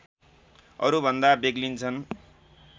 अरूभन्दा बेग्लिन्छन्